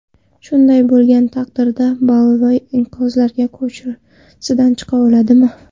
Shunday bo‘lgan taqdirda Boliviya inqirozlar ko‘chasidan chiqa oladimi?